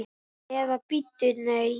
Eða bíddu, nei.